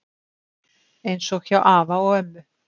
Eins og hjá afa og ömmu